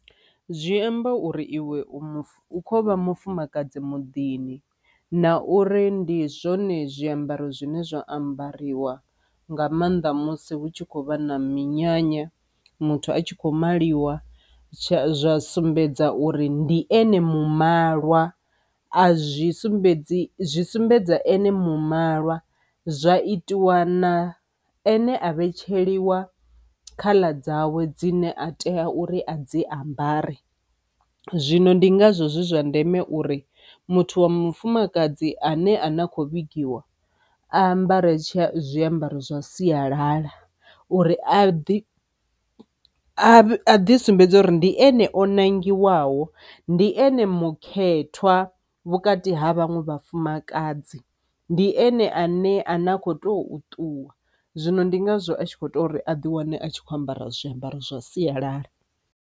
Zwi amba uri iwe u muf, ukho vha mufumakadzi muḓini na uri ndi zwone zwiambaro zwine zwa ambariwa nga maanḓa musi hu tshi khou vha na minyanya muthu a tshi kho maliwa tsha sumbedza uri ndi ene malwa a zwi sumbedzi zwi sumbedza ane malwa. Zwa itiwa na ane a vhetsheliwa color dzawe dzine a tea uri a dzi ambare. Zwino ndi ngazwo zwi zwa ndeme uri muthu wa mufumakadzi ane a na khou vhigiwa a ambare tsha zwiambaro zwa sialala uri a ḓi a ḓi sumbedza uri ndi ene o nangiwaho ndi ene mukhethwa vhukati ha vhaṅwe vhafumakadzi ndi ene a ne a ne a kho to ṱuwa. Zwino ndi ngazwo a tshi kho tea uri a ḓi wane a tshi kho ambara zwiambaro zwa sialala.